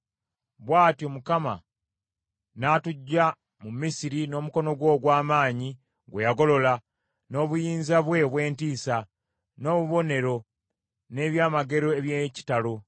Bw’atyo Mukama n’atuggya mu Misiri n’omukono gwe ogw’amaanyi gwe yagolola, n’obuyinza bwe obw’entiisa, n’obubonero, n’ebyamagero eby’ekitalo.